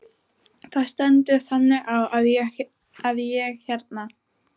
Það stendur þannig á að ég hérna.